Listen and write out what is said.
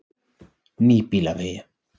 Nýbýlavegi